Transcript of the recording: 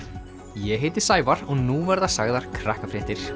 ég heiti Sævar og nú verða sagðar